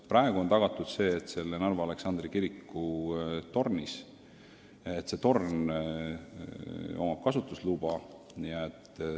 Praegu on tagatud see, et Narva Aleksandri kiriku torni võib kasutada.